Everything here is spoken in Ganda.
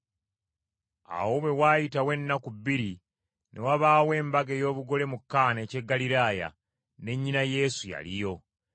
Awo bwe waayitawo ennaku bbiri ne wabaawo embaga ey’obugole mu Kaana eky’e Ggaliraaya ne nnyina Yesu yaliyo.